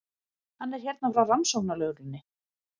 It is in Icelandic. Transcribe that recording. Hann er hérna frá rannsóknarlögreglunni.